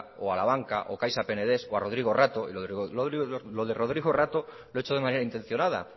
o a la banca o caixa penedés o a rodrigo rato y lo de rodrigo rato lo he hecho de manera intencionada